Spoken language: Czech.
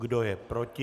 Kdo je proti?